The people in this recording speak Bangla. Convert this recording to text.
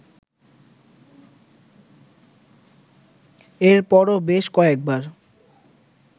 এরপরও বেশ কয়েকবার